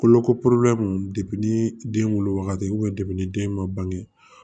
Kolo ko ni den wolo wagati ni den ma bange